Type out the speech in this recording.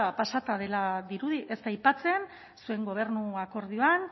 pasata dela dirudi ez da aipatzen zuen gobernu akordioan